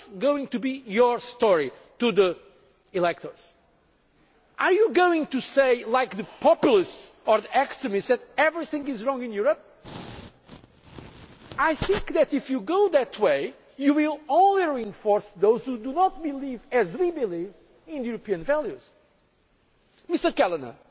the same values. What is going to be your story to the electors? Are you going to say, like the populists or the extremists, that everything is wrong in Europe? If you go that way you will only reinforce those who do not believe, as we do, in European